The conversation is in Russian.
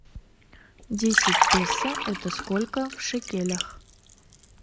десять песо это сколько в шекелях